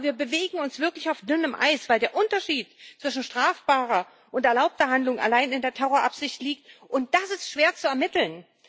Aber wir bewegen uns wirklich auf dünnem Eis, weil der Unterschied zwischen strafbarer und erlaubter Handlung allein in der Terrorabsicht liegt, und das ist schwer zu ermitteln.